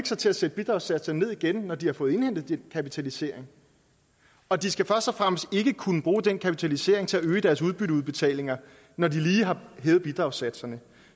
sig til at sætte bidragssatserne ned igen når de har fået indhentet den kapitalisering og de skal først og fremmest ikke kunne bruge den kapitalisering til at øge deres udbytteudbetalinger når de lige har hævet bidragssatserne